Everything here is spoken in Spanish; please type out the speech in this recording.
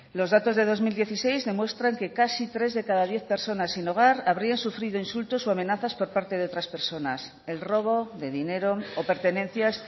los datos de dos mil dieciséis demuestran que casi tres de cada diez personas sin hogar habría sufrido insultos o amenazas por parte de otras personas el robo de dinero o pertenencias